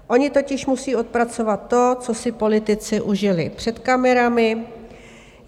Oni totiž musí odpracovat to, co si politici užili před kamerami.